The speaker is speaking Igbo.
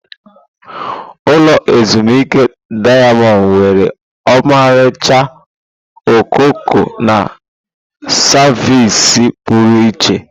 Ulọ ezimuike dayamond nwere ọmarịcha okooko na savịsị pụrụ iche.